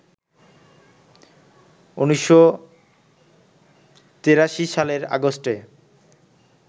১৯৮৩ সালের আগস্টে